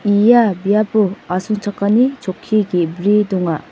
ia biapo asongchakani chokki ge·bri donga.